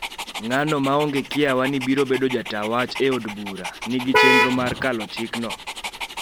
ng'ano maonge kiawa ni biro bedo jata wach e od bura, nigi chenro mar kalo chikno